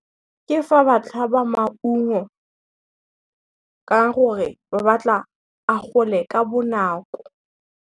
Ke fa ba tlhaba maungo, ka gore ba batla a gole ka bonako.